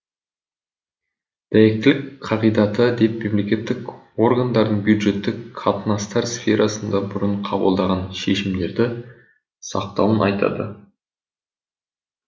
дәйектілік қағидаты деп мемлекеттік органдардың бюджеттік қатынастар сферасында бұрын кабылдаған шешімдерді сақтауын айтады